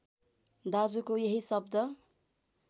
दाजुको यही शब्द